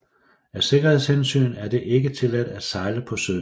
Af sikkerhedshensyn er det ikke tilladt at sejle på søen